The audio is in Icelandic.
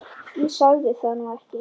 Ég sagði það nú ekki.